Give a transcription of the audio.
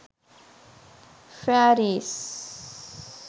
fairies